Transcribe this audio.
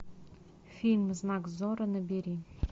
фильм знак зорро набери